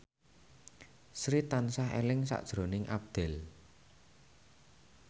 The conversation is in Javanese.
Sri tansah eling sakjroning Abdel